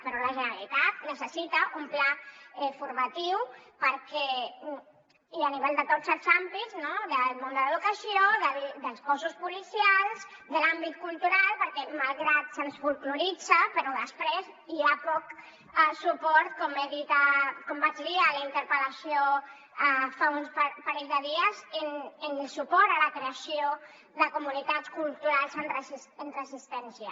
però la generalitat necessita un pla formatiu i a nivell de tots els àmbits no del món de l’educació dels cossos policials de l’àmbit cultural perquè malgrat que se’ns folkloritza després hi ha poc suport com vaig dir a la interpel·lació fa un parell de dies a la creació de comunitats culturals en resistència